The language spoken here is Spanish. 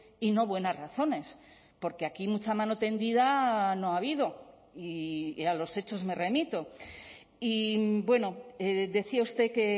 y no buenas razones porque aquí mucha mano tendida no ha habido y a los hechos me remito y bueno decía usted que